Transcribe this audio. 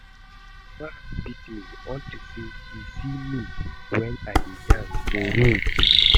My mama beat me unto say she see me wen I dey dance for road